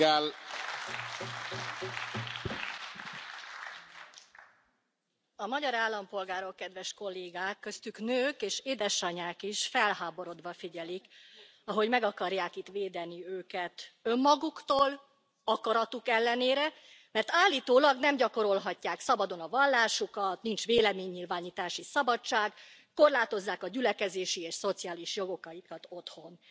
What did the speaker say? Tisztelt Elnök Úr! A magyar állampolgárok, kedves Kollégák, köztük nők és édesanyák is felháborodva figyelik, ahogy meg akarják itt védeni őket önmaguktól, akaratuk ellenére, mert állítólag nem gyakorolhatják szabadon a vallásukat, nincs véleménynyilvánítási szabadság, korlátozzák a gyülekezési és szociális jogaikat otthon.